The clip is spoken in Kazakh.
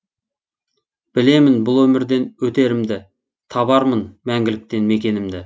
білемін бұл өмірден өтерімді табармын мәңгіліктен мекенімді